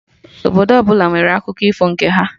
Obodo ọbụla nwere akụko ifo nke ha